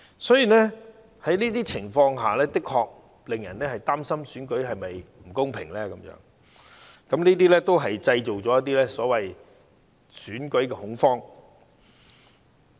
所以，情況的確令人擔心選舉是否公平，而這些事情亦製造了"選舉恐慌"。